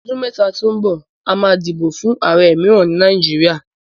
Ní ọdún mẹ́ta tó ń bọ̀, a máa dìbò fún ààrẹ mìíràn ní Nàìjíríà